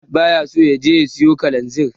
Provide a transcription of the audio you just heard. Ahmad baya so ya je ya siyo Kalanzir.